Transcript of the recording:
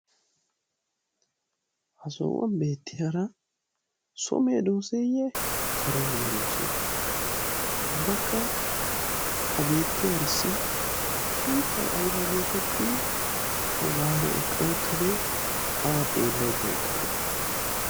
ha sohuwan beettiyara so medoosayye kare medoose? ubbakka ah beetiyarissi sunttay oona getetti? a waana eqqa uttade? awa xeelaydda eqqade?